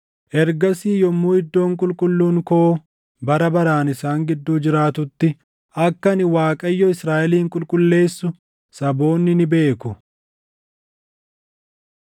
Ergasii yommuu iddoon qulqulluun koo bara baraan isaan gidduu jiraatutti, akka ani Waaqayyo Israaʼelin qulqulleessu saboonni ni beeku.’ ”